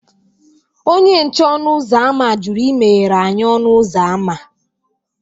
Onye nche ọnụ ụzọ ámá jụrụ imeghere anyị ọnụ ụzọ ámá